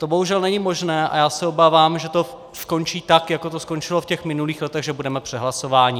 To bohužel není možné a já se obávám, že to skončí tak, jako to skončilo v těch minulých letech, že budeme přehlasováni.